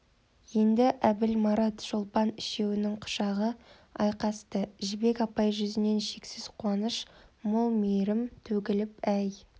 енді әбіл марат шолпан үшеуінің құшағы айқасты жібек апай жүзінен шексіз қуаныш мол мейірім төгіліп әй